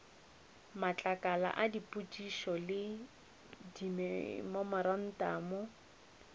matlakala a dipotšišo le dimemorantamo